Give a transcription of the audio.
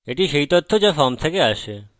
এটি সেই তথ্য যা ফর্ম থেকে আসে